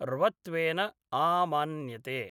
र्वत्वेन आमान्यते।